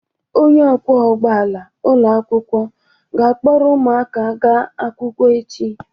Onye ọkwọ ụgbọ ala ụlọ akwụkwọ ga-akpọrọ ụmụaka gaa akwụkwọ echi.